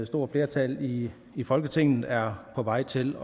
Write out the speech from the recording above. stort flertal i i folketinget er på vej til